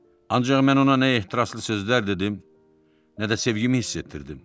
Ancaq mən ona nə ehtiraslı sözlər dedim, nə də sevgimi hiss etdirdim.